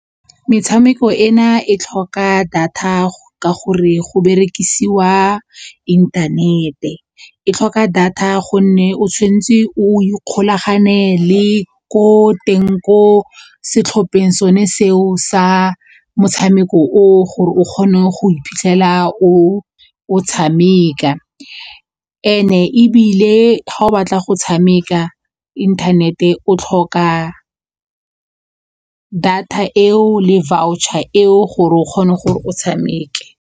Metshameko ena e tlhoka data ka gore go berekisiwa inthanete, e tlhoka data gonne o tshwanetse o ikgolagane le ko teng ko setlhopheng sone seo sa motshameko oo gore o kgone go iphitlhela o o tshameka, and-e ebile ga o batla go tshameka internet-e o tlhoka data eo le voucher eo gore o kgona gore o tshameke.